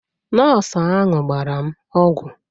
Nọọsụ ahụ gbara m ọgwụ